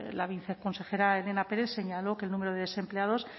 la viceconsejera elena pérez señaló que el número de desempleados